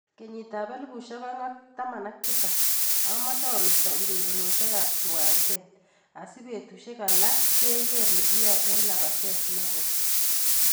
Kenyit ab 2017, amoche amete urerenosiek ab kiwanjet atia betusiek alak sikeker nekiyoe eng lapatet negoi.